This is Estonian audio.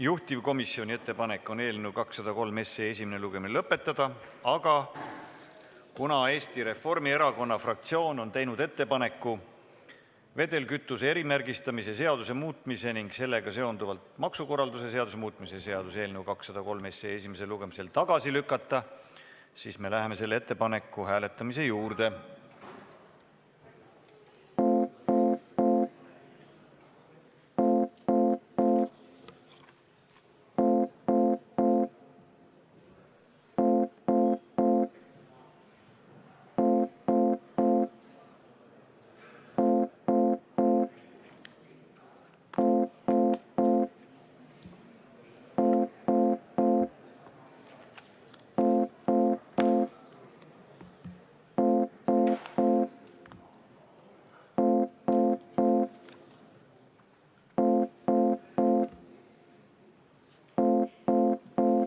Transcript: Juhtivkomisjoni ettepanek on eelnõu 203 esimene lugemine lõpetada, aga kuna Eesti Reformierakonna fraktsioon on teinud ettepaneku vedelkütuse erimärgistamise seaduse muutmise ning sellega seonduvalt maksukorralduse seaduse muutmise seaduse eelnõu esimesel lugemisel tagasi lükata, siis me läheme selle ettepaneku hääletamise juurde.